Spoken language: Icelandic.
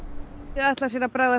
þau ætla sér að bregðast